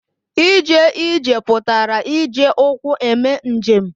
Ije ije pụtara ije ụkwụ eme njem.